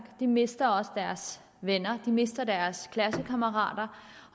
de mister også deres venner de mister deres klassekammerater